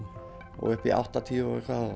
og upp í áttatíu